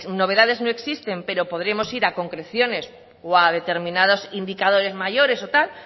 novedades no existen pero podremos ir a concreciones o a determinados indicadores mayores o tal